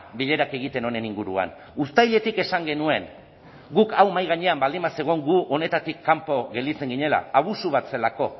bilerak egiten honen inguruan uztailetik esan genuen guk hau mahai gainean baldin bazegoen gu honetatik kanpo gelditzen ginela abusu bat zelako